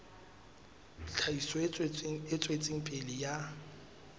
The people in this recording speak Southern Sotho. tlhahiso e tswetseng pele ya